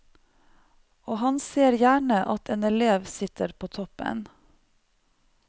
Og han ser gjerne at en elev sitter på toppen.